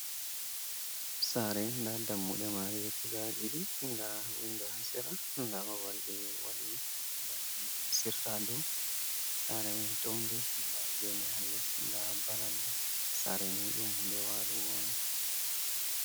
Saare nda dammude mare guda ɗiɗi nda windo ha sera nda babal ɓe waɗi bana hedduna sirra do sare wani townde nda gene ha les nda baranda sareni ɗum huunde walugo on.